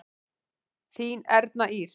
Þín Erna Ýr.